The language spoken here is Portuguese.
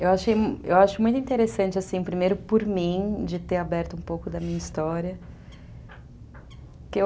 Eu acho muito interessante, primeiro por mim, de ter aberto um pouco da minha história.